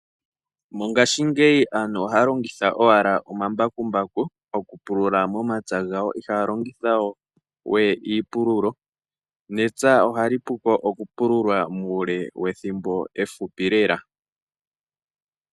Mongashingeyi aantu ohalongitha owala omambakumbaku okupulula momapya gawo ihalongitha we iipululo nepya ohali puko okupululwa muule wethimbo ehupi lela.